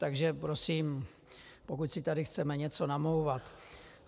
Takže prosím, pokud si tady chceme něco namlouvat...